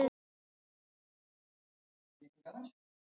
Og greinilega tekist það.